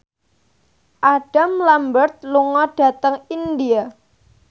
Adam Lambert lunga dhateng India